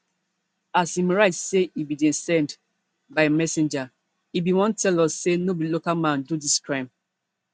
as im write say e bin dey send by messenger e bin wan tell us say no be local man do dis crime